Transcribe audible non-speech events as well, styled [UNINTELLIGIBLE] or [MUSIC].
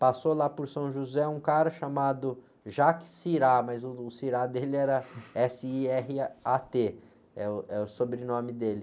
Passou lá por São José um cara chamado, [UNINTELLIGIBLE] mas o [UNINTELLIGIBLE] dele era ésse-í-érre-á-tê, é o, é o sobrenome dele.